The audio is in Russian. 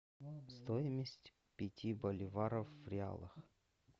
стоимость пяти боливаров в реалах